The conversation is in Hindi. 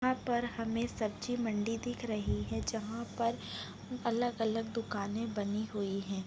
यहाँ पर हमें सब्जी मंडी दिख रही है जहाँ पर अलग -अलग दुकाने बनी हुई है।